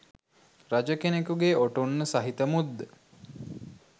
රජ කෙනකුගේ ඔටුන්න සහිත මුද්ද